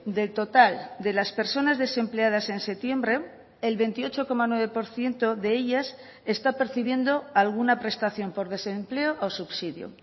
del total de las personas desempleadas en septiembre el veintiocho coma nueve por ciento de ellas está percibiendo alguna prestación por desempleo o subsidio